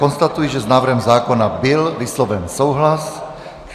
Konstatuji, že s návrhem zákona byl vysloven souhlas.